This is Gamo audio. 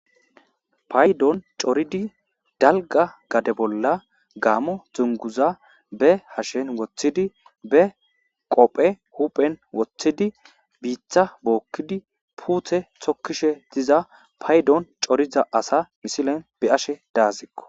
paydoon coridi dalga gade bolla gaamo dunguza be hashen woththidi be qoofe huphen woththidi biitta bookkidi puute tokkishe diza paydoon coriza asa misilen be7ashe daaysikko